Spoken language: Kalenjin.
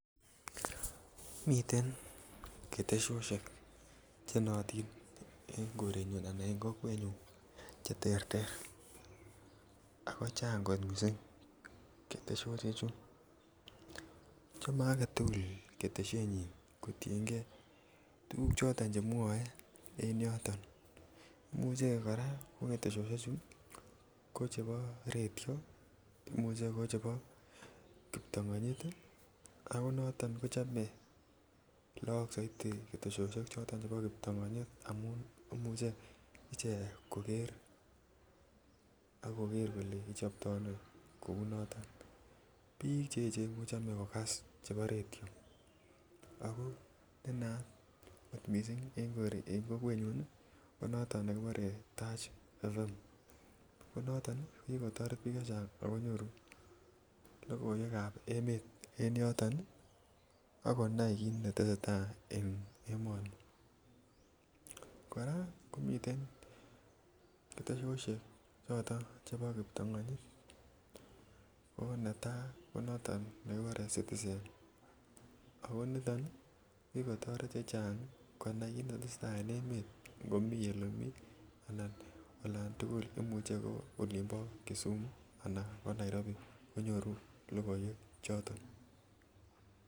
Miten ketesiosiek che nootin en korenyun anan en kokwenyun Che terter ako chang kot mising ketesiosiechu chome age tugul ketesyenyin kotienge ak tuguk Che mwooe en yoto imuche kora ko ketesiosiechu ko Che bo radio Anan ko chebo kiptongonyit ako noto kochome Lagok soiti ketesyosiek chebo kiptongonyit amun imuche ichek koger kole kichopto ano kounoto bik Che echen ko chome kogas chebo radio ago ne naat mising en kokwenyun keguren taach fm noton ko ki kotoret bik chechang ago nyoru logoiwekab emet en yoto ak konai kit netese tai en emoni kora komiten ketesyosiek chebo kiptongonyit ko netai ko noton nekikuren citizen ako niton ko kikotoret chechang konai kit ne tesetai en emet komi Ole mi Anan olan tugul imuche ko olinbo bo kisumu anan ko Nairobi konyoru logoiwek choton chebo emet